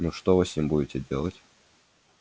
ну что вы с ним будете делать